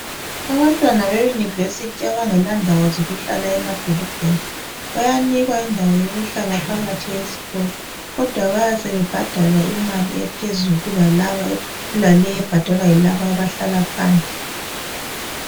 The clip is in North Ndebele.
Abantwana be university abangela ndawo zokuhlala emadolobheni bayanikwa indawo yokuhlala phakathi esikolo kodwa bayabe sebebadala imali ephezulu kulale ebhadalwa yilaba abahlala phandle.